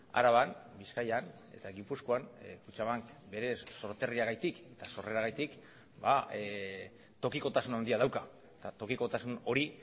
araban bizkaian eta gipuzkoan kutxabank berez sorterriagatik eta sorreragatik tokikotasun handia dauka eta tokikotasun hori